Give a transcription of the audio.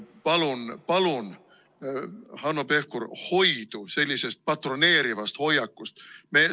Palun-palun, Hanno Pevkur, hoidu sellisest patroneerivat hoiakust!